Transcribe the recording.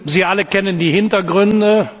Sie alle kennen die Hintergründe.